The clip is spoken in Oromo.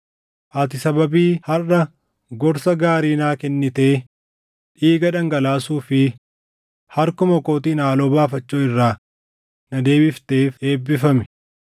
Ati sababii harʼa gorsa gaarii naa kennitee dhiiga dhangalaasuu fi harkuma kootiin haaloo baafachuu irraa na deebifteef eebbifami.